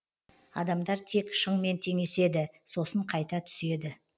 адамдар тек шыңмен теңеседі сосын қайта түседі